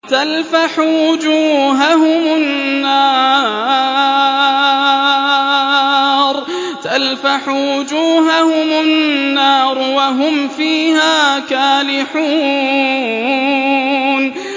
تَلْفَحُ وُجُوهَهُمُ النَّارُ وَهُمْ فِيهَا كَالِحُونَ